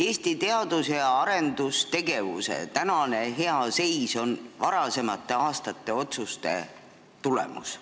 Eesti teadus- ja arendustegevuse hea seis on varasemate aastate otsuste tulemus.